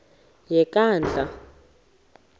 yenkandla